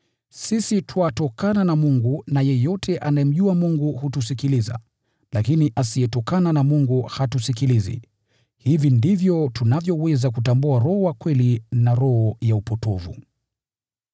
Sisi twatokana na Mungu na yeyote anayemjua Mungu hutusikiliza, lakini asiyetokana na Mungu hatusikilizi. Hivi ndivyo tunavyoweza kutambua Roho wa Kweli na roho ya upotovu.